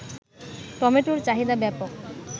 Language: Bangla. টমেটোর চাহিদা ব্যাপক